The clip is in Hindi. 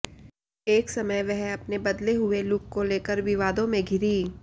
एक समय वह अपने बदले हुए लुक को लेकर विवादों में घिरीं